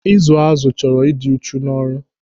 Ịzụ àzụ chọrọ ịdị uchu n'ọrụ.